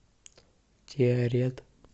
тиарет